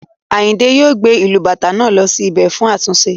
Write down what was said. Ayinde yóò gbé ìlù Bàtá náà lọ sí bẹ̀ fún àtúnṣe